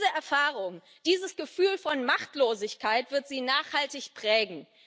Diese Erfahrung, dieses Gefühl von Machtlosigkeit wird sie nachhaltig prägen.